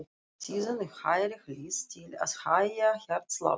Síðan á hægri hlið til að hægja hjartsláttinn.